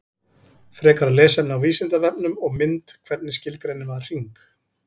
Frekara lesefni á Vísindavefnum og mynd Hvernig skilgreinir maður hring?